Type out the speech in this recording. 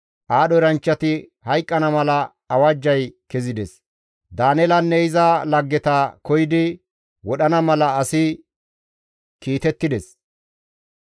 Aadho eranchchati hayqqana mala awajjay kezides; Daaneelanne iza laggeta koyidi wodhana mala asi kiitettides.